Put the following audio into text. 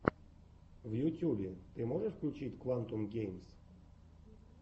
в ютюбе ты можешь включить квантум геймс